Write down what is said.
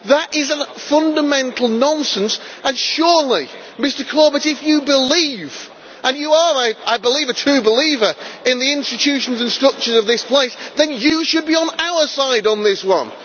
That is a fundamental nonsense and surely, Mr Corbett, if you believe and you are, I believe, a true believer in the institutions and structures of this place, then you should be on our side on this one!